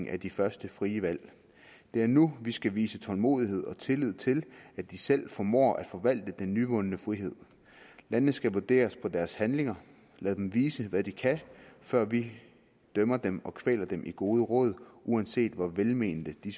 af de første frie valg det er nu vi skal vise tålmodighed og tillid til at de selv formår at forvalte den nyvundne frihed landene skal vurderes på deres handlinger lad dem vise hvad de kan før vi dømmer dem og kvæler dem i gode råd uanset hvor velmente de